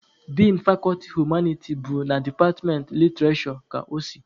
Din fakọlti humaniti bụ na departmentị literishure ka o si.